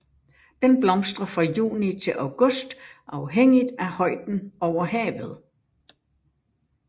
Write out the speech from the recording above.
Den blomstrer fra juni til august afhængigt af højden over havet